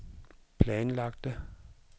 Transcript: planlagte